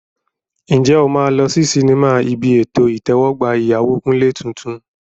Ǹjẹ́ o máa lọ sí sinimá ibi ètò ìtẹ́wọ́gbà ìyàwó Kunle tuntun?